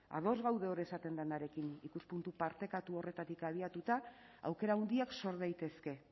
ados gaude hor esaten denarekin ikuspuntu partekatu horretatik abiatuta aukera handiak sor daitezke